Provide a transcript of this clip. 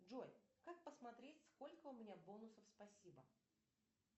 джой как посмотреть сколько у меня бонусов спасибо